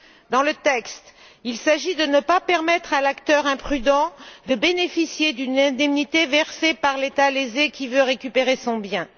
Dans le texte, il s'agit de ne pas permettre à l'acteur imprudent de bénéficier d'une indemnité versée par l'État lésé qui veut récupérer son bien.